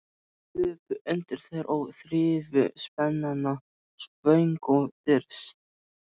Þau hlupu undir þær og þrifu spenana svöng og þyrst.